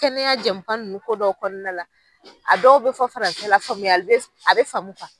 Kɛnɛya jɛmunkan ninnu ko dɔw kɔnɔna a dɔw bɛ fɔ farasɛ faamuyali bɛ a bɛ faamu